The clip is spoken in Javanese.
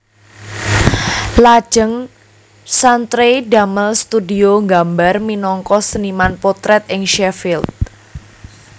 Lajeng Chantrey damel studio gambar minangka seniman potrèt ing Sheffield